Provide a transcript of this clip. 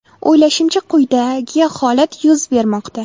O‘ylashimcha, quyidagi holat yuz bermoqda.